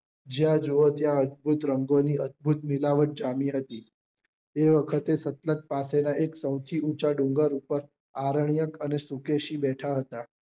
જ્યાં જોવો ત્યાં અદ્ભુત રંગો ની અદ્ભુત મિલાવટ જામી હતી એ વખતે સતલજ પાસે ના એક સૌથી ઊંચા ડુંગર ઉપર આરણ્યક આને શુકેશી બેઠા હતા